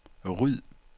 ryd